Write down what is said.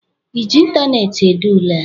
ị ji ịntaneetị ede ule a?